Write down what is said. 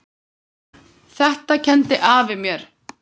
Þetta kenndi afi mér.